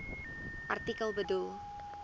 artikel bedoel